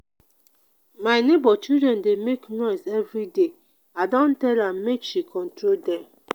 my nebor children dey make noise everyday i don tell am make she control dem.